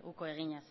uko eginez